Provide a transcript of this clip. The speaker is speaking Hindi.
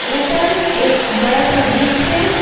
ऊपर एक बड़ा सा बीच है।